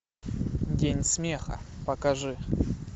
день смеха покажи